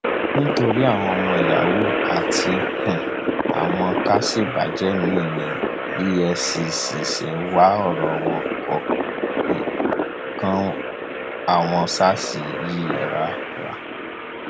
nítorí àwọn yahoo àti um àwọn ká ṣèbàjẹ míín ní efcc ṣe wá ọrọ wọn àwọn sars yìí rárá